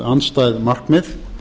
andstæð markmið